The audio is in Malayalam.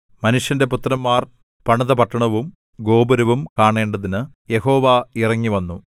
മനുഷ്യന്റെ പുത്രന്മാർ പണിത പട്ടണവും ഗോപുരവും കാണേണ്ടതിന് യഹോവ ഇറങ്ങിവന്നു